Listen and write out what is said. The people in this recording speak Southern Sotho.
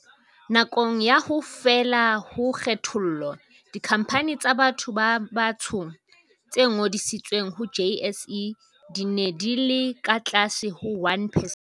Nakong ya ho fela ha kgethollo, dikhampani tsa batho ba batsho tse ngodisitsweng ho JSE di ne di le ka tlase ho 1 percent.